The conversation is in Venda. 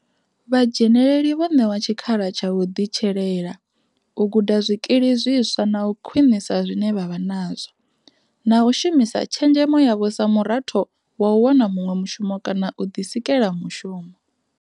Vha dzheneleli vho ṋewa tshikhala tsha u ḓitshelela, u guda zwikili zwiswa na u khwiṋisa zwine vha vha nazwo, na u shumisa tshenzhemo yavho sa muratho wa u wana muṅwe mushumo kana u ḓisikela mushumo.